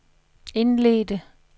indledte